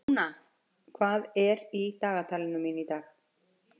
Rúna, hvað er í dagatalinu mínu í dag?